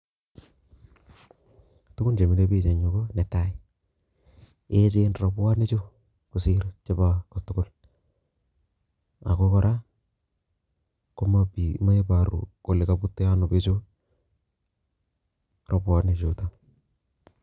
Tugun chemile biik en yu konetai echen robwonichu kosir kotugul, ako kora moi oru kole kobute en onoo bichu robwonikchuton,